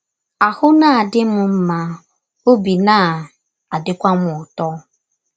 Ahụ́ na - adị m mma, ọbi na - adịkwa m ụtọ. ”